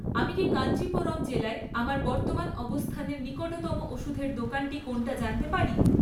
আমি কি কাঞ্চিপুরম জেলায় আমার বর্তমান অবস্থানের নিকটতম ওষুধের দোকানটি কোনটা জানতে পারি?